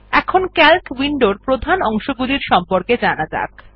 এখন সিএএলসি উইন্ডোর প্রধান অংশগুলির সম্পর্কে জানা যাক